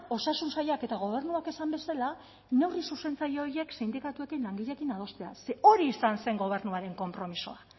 osasun sailak eta gobernuak esan bezala neurri zuzentzaile horiek sindikatuekin langileekin adostea ze hori izan zen gobernuaren konpromisoa